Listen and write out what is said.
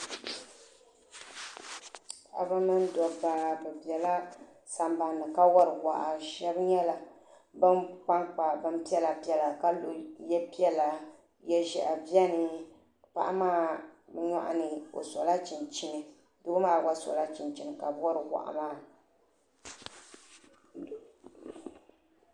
Paɣaba mini dabba bɛ bela sambani ka wari waa sheba nyɛla ban kpa bini piɛla piɛla ka lo ye piɛla ye'ʒehi biɛni paɣa maa nyɔɣuni o sola chinchini doo maa gba sola chinchini n wari wahi maa.